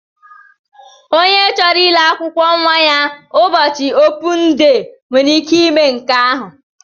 Ònye chọrọ ile akwụkwọ nwa ya ụbọchị opun dee nwere ike ime nke ahụ.